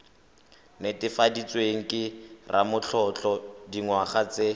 netefaditsweng ke ramatlotlo dingwaga tse